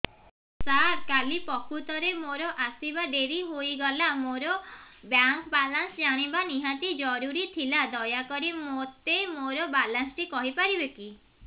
ସାର କାଲି ପ୍ରକୃତରେ ମୋର ଆସିବା ଡେରି ହେଇଗଲା ମୋର ବ୍ୟାଙ୍କ ବାଲାନ୍ସ ଜାଣିବା ନିହାତି ଜରୁରୀ ଥିଲା ଦୟାକରି ମୋତେ ମୋର ବାଲାନ୍ସ ଟି କହିପାରିବେକି